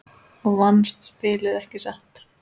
Og vannst spilið, ekki satt?